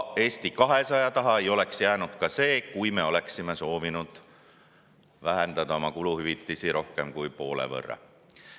Eesti 200 taha ei oleks jäänud ka see, kui me oleksime soovinud vähendada oma kuluhüvitisi rohkem kui poole võrra.